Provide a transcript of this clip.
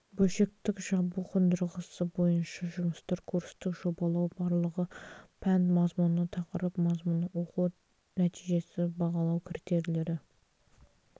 бөлшектік жабу қондырғысы бойынша жұмыстар курстық жобалау барлығы пән мазмұны тақырып мазмұны оқыту нәтижесі бағалау критерийлері